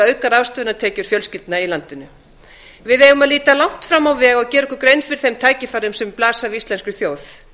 auka ráðstöfunartekjur fjölskyldna í landinu við eigum að líta langt fram á veg og gera okkur grein fyrir þeim tækifærum sem blasa við íslenskri þjóð